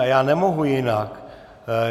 A já nemohu jinak.